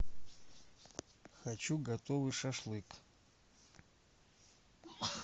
хочу готовый шашлык